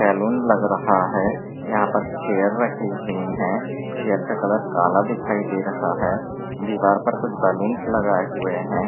Salon लग रहा है यहां पर चेयर रखी हुई है चेयर का कलर काला दिखाई दे रहा है दीवार पर कुछ बलूंस लगाए हुए है।